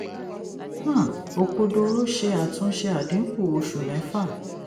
um òkodoro ṣe àtúnṣe àdínkù oṣù mẹ́fà.